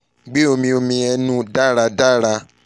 gbe omi omi ẹnu daradara